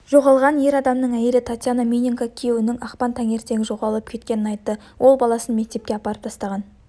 жоғалған ер адамның әйелі татьяна миненко күйеуінің ақпан таңертең жоғалып кеткенін айтты ол баласын мектепке апарып тастаған